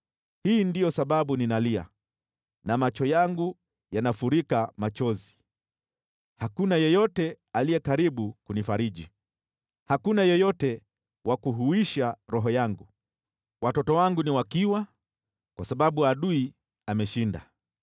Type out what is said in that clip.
“Hii ndiyo sababu ninalia na macho yangu yanafurika machozi. Hakuna yeyote aliye karibu kunifariji, hakuna yeyote wa kuhuisha roho yangu. Watoto wangu ni wakiwa kwa sababu adui ameshinda.”